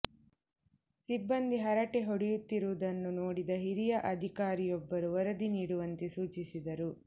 ಸಿಬ್ಬಂದಿ ಹರಟೆ ಹೊಡೆಯುತ್ತಿರುವುದನ್ನು ನೋಡಿದ ಹಿರಿಯ ಅಧಿಕಾರಿಯೊಬ್ಬರು ವರದಿ ನೀಡುವಂತೆ ಸೂಚಿಸಿದ್ದರು